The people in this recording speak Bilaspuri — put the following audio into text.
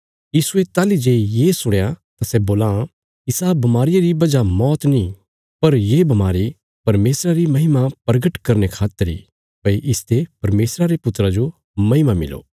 यीशुये ताहली जे ये सुणया तां सै बोलां इसा बमारिया री वजह मौत नीं पर ये बमारी परमेशरा री महिमा परगट करने खातर इ भई इसते परमेशरा रे पुत्रा जो महिमा मिलो